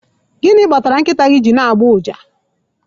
Gịnị kpatara nkịta gị ji na-agbọ ụja?